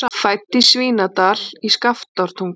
Fædd í Svínadal í Skaftártungu.